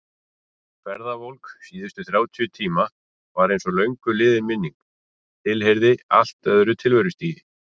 Ferðavolk síðustu þrjátíu tíma var einsog löngu liðin minning, heyrði til allt öðru tilverustigi.